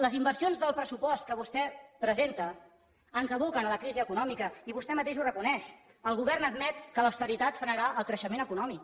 les inversions del pressupost que vostè presenta ens aboquen a la crisi econòmica i vostè mateix ho reconeix el govern admet que l’austeritat frenarà el creixement econòmic